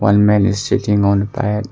One man is sitting on tyre .